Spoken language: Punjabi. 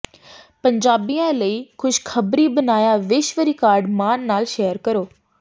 ਪੰਜਾਬੀਆਂ ਲਈ ਖੁਸ਼ਖਬਰੀ ਬਣਾਇਆ ਵਿਸ਼ਵ ਰਿਕਾਰਡ ਮਾਣ ਨਾਲ ਸ਼ੇਅਰ ਕਰੋ